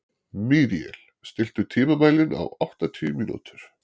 Míríel, stilltu tímamælinn á áttatíu mínútur.